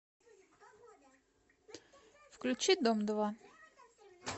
включи дом два